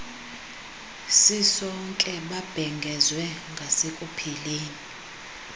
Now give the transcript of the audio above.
sisonke babhengezwe ngasekupheleni